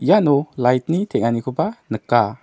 iano light-ni teng·anikoba nika.